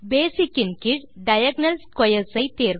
பேசிக் ன் கீழ் diagonal squares